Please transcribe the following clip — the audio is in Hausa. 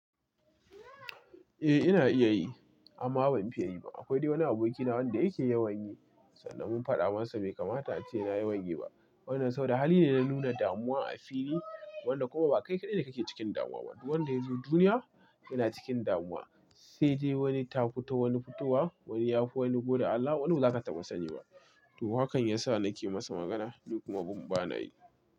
Eh ina iya yi amma ban fiya yi ba. Akwai dai wani abokina wanda yake yawan yi sanda mun faɗa masa kamata ace yena yawan yi ba. Wannan sau da hali ne na nuna damuwa a fili wanda kuma ba kai kaɗai ne kake cikin damuwa ba. Duk wanda ya zo duniya yana cikin damuwa, sai dai wani ta fi to wani fitowa, wani ya fi wani goda Allah, wani wuni baza ka taba sanyi ba. To hakan ya sa nake masa magana duk mubin ban yi ba.